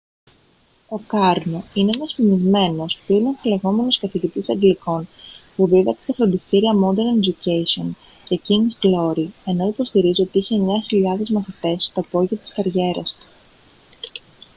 ο κάρνο είναι ένας φημισμένος πλην αμφιλεγόμενος καθηγητής αγγλικών που δίδαξε στα φροντιστήρια modern education και king's glory ενώ υποστηρίζει ότι είχε 9.000 μαθητές στο απόγειο της καριέρας του